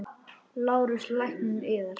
LÁRUS: Lækninn yðar?